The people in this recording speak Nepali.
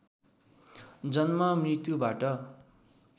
जन्म मृत्युबाट